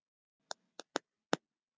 Það var